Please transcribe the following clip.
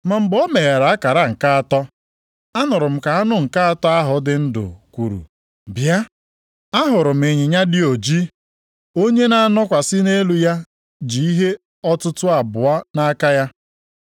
Ma mgbe o meghere akara nke atọ, anụrụ m ka anụ nke atọ ahụ dị ndụ kwuru, “Bịa!” Ahụrụ m ịnyịnya dị ojii. Onye na-anọkwasị nʼelu ya ji ihe ọtụtụ abụọ nʼaka ya.